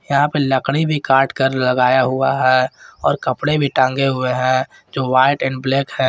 यहां पे लकड़ी भी काट कर लगाया हुआ है और कपड़े भी टांगे हुए हैं जो व्हाइट एंड ब्लैक है।